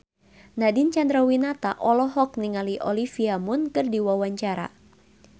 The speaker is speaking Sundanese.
Nadine Chandrawinata olohok ningali Olivia Munn keur diwawancara